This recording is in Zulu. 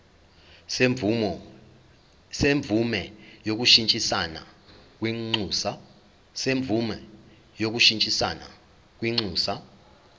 semvume yokushintshisana kwinxusa